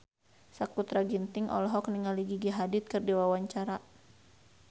Sakutra Ginting olohok ningali Gigi Hadid keur diwawancara